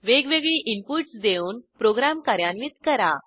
वेगवेगळी इनपुटस देऊन प्रोग्रॅम कार्यान्वित करा